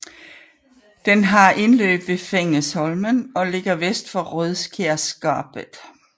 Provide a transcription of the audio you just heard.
Den har indløb ved Fengesholmen og ligger vest for Rødskjærgapet